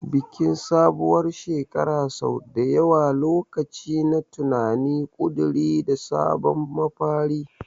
Bikin sabuwar shekara sau da yawa lokaci ne na tunani, ƙuduri, da sabon mafari.